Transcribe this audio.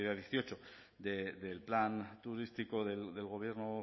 dieciocho del plan turístico del gobierno